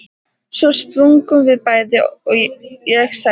Svo sprungum við bæði, og ég sagði